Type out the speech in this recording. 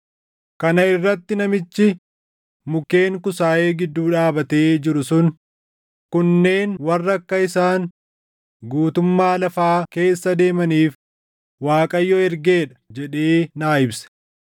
Kana irratti namichi mukkeen kusaayee gidduu dhaabatee jiru sun, “Kunneen warra akka isaan guutummaa lafaa keessa deemaniif Waaqayyo ergee dha” jedhee naa ibse.